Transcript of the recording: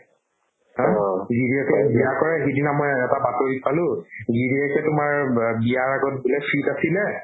অ, গিৰীয়েকে বিয়া কৰাই সিদিনা মই এটা বাতৰিত পালো গিৰীয়েকে তোমাৰ ব ~ বিয়াৰ আগত বোলে fit আছিলে